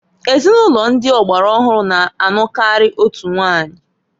Ezinụlọ ndi ọgbara ọhụrụ na anụkari otu nwanyi.